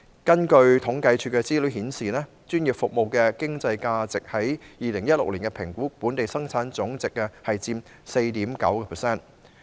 政府統計處的資料顯示，專業服務的經濟價值佔2016年的本地生產總值的 4.9%。